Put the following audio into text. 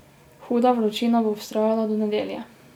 Huda vročina bo vztrajala do nedelje.